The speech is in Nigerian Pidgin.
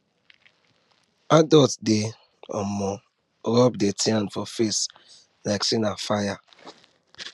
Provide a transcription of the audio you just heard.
adults dey um run dirty hand from face like say na fire